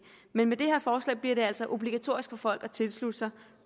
men med det her forslag bliver det altså obligatorisk for folk at tilslutte sig